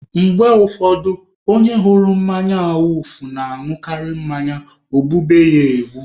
Mgbe ụfọdụ, onye hụrụ mmanya awufu na-añụkarị mmanya o gbube ya egbu.